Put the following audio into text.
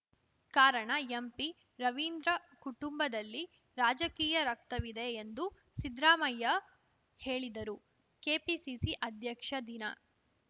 ಕಾರಣ ಎಂಪಿರವೀಂದ್ರ ಕುಟುಂಬದಲ್ಲಿ ರಾಜಕೀಯ ರಕ್ತವಿದೆ ಎಂದು ಸಿದ್ರಾಮಯ್ಯ ಹೇಳಿದರು ಕೆಪಿಸಿಸಿ ಅಧ್ಯಕ್ಷ ದಿನ